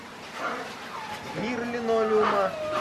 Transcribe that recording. мир линолеума